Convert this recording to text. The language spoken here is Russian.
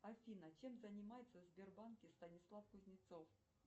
афина чем занимается в сбербанке станислав кузнецов